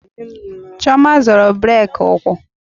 Chioma zọrọ brake ụkwụ